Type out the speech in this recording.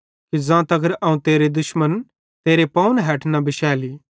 कि ज़ां तगर अवं तेरे दुश्मन तेरे पावन हैठ न बिशैली